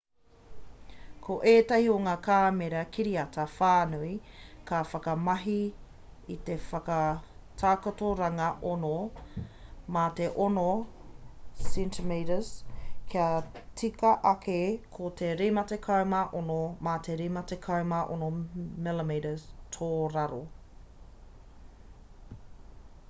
ko ētahi o ngā kāmera kiriata-whānui ka whakamahi i te whakatakotoranga 6 mā te 6 cm kia tika ake ko te 56 mā te 56 mm tōraro